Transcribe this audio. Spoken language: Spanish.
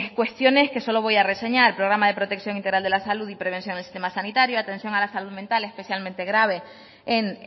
cuestiones que solo voy a reseñar programa de protección integral de la salud y prevención en el sistema sanitaria atención a la salud mental especialmente grave en